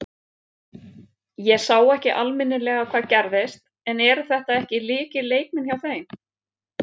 Ég sá ekki almennilega hvað gerðist en eru þetta ekki lykilleikmenn hjá þeim?